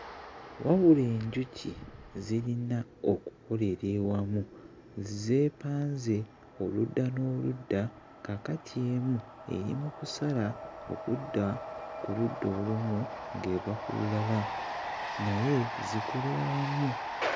Wabula enjuki zirina okukolera ewamu zeepanze oludda n'oludda kaakati emu eri mu kusala okudda ku ludda olumu ng'eva ku lulala naye zikolera wamu.